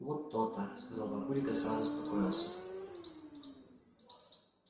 вот то-то сказал папулик и сразу успокоился